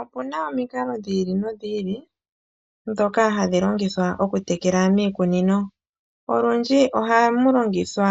Opu na omikalo dhi ili nodhi ili dhoka hadhi longithwa oku tekela miikunino, olundji oha mu longithwa